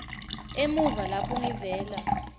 emuva lapho ngivela